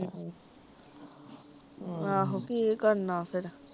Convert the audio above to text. ਆਹ ਆਹੋ ਕੀ ਕਰਨਾ ਫਿਰ